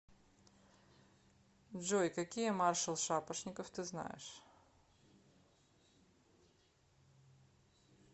джой какие маршал шапошников ты знаешь